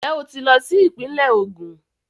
Njẹ o tí lọ sí ìpínlẹ̀ Ogún?